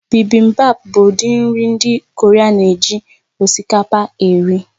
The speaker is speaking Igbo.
Bibimbap bụ ụdị nri ndị Korea a na-eji osikapa eri